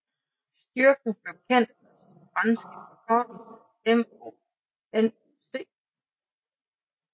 Styrken blev kendt under sin franske forkortelse MONUC